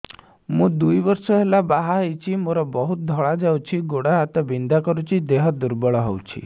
ମୁ ଦୁଇ ବର୍ଷ ହେଲା ବାହା ହେଇଛି ମୋର ବହୁତ ଧଳା ଯାଉଛି ଗୋଡ଼ ହାତ ବିନ୍ଧା କରୁଛି ଦେହ ଦୁର୍ବଳ ହଉଛି